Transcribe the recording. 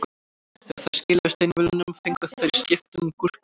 Þegar þær skiluðu steinvölunum fengu þær í skiptum gúrkusneið.